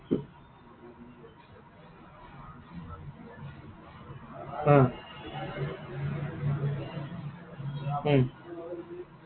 হা। উম